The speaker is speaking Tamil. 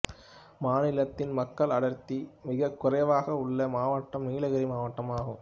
மாநிலத்தின் மக்கள் அடர்த்தி மிகக் குறைவாக உள்ள மாவட்டம் நீலகிரி மாவட்டம் ஆகும்